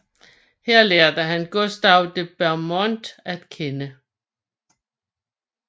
Her lærte han Gustave de Beaumont at kende